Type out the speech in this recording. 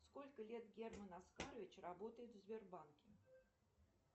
сколько лет герман оскарович работает в сбербанке